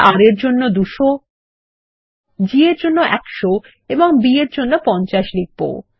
আমরা R এর জন্য 200 G এর জন্য 100 এবং B এর জন্য 50 লিখব